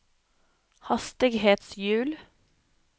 hastighetshjul